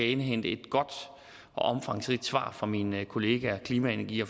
indhente et godt og omfangsrigt svar fra mine kollegaer klima energi